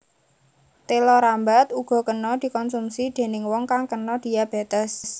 Téla rambat uga kena dikonsumsi déning wong kang kena diabétes